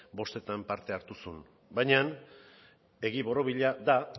bostetan parte hartu zuen baina egi borobila da